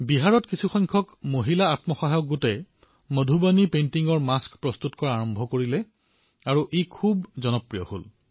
বিহাৰত বহু মহিলা আত্মসহায়ক গোটে মধুবাণী পেইণ্টিঙৰ মাস্ক বনোৱা আৰম্ভ কৰিছে আৰু চাওতে চাওতে ই অতিশয় জনপ্ৰিয় হৈ উঠিছে